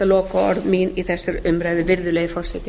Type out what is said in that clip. lokaorð mín í þessari umræðu virðulegi forseti